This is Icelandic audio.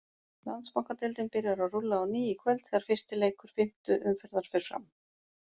Landsbankadeildin byrjar að rúlla á ný í kvöld þegar fyrsti leikur fimmtu umferðar fer fram.